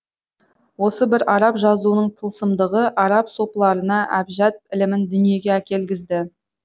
осы бір араб жазуының тылсымдығы араб сопыларына әбжәд ілімін дүниеге әкелгізді